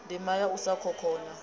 ndima ya u sa khokhonya